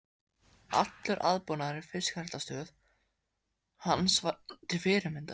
Allur aðbúnaður í fiskræktarstöð hans var til fyrirmyndar.